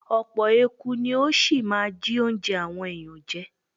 Ọ̀pọ̀ eku ni ó ṣì máa jí óúnjẹ àwọn èèyàn jẹ.